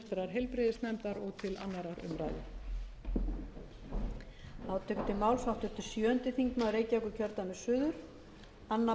að leggja til að frumvarpinu verði vísað til háttvirtrar heilbrigðisnefndar og til annarrar umræðu